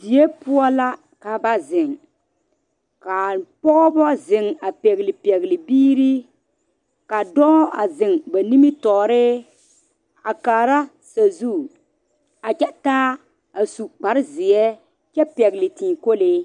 Die poɔ la ka ba zeŋ kaa pɔgebo zeŋ a pegle pegle biiri ka dɔɔ a zeŋ ba nimitɔɔre a kaara sazu a kyɛ taa a su kpare ziɛ kyɛ pegle tii kolee.